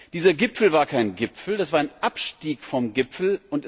Dieser Gipfel war kein Gipfel, das war ein Abstieg vom Gipfel.